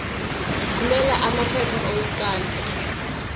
thumela amaphepha okuqala